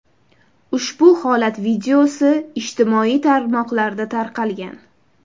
Ushbu holat videosi ijtimoiy tarmoqlarda tarqalgan.